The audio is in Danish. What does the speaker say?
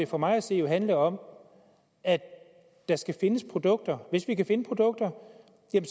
for mig at se handle om at der skal findes produkter og hvis vi kan finde produkter